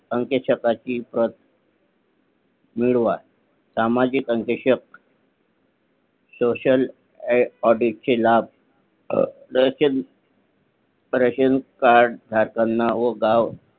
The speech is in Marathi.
अंक्य शताची प्रत मिळवा सामाजिक अंकेशक socialaudit चे लाभ रेशन कार्ड धारकांना व गाव